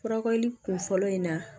Furakɛli kun fɔlɔ in na